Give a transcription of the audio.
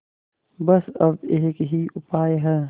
बस अब एक ही उपाय है